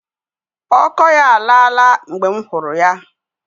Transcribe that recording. Ọkọ ya alaa la mgbe m hụrụ ya.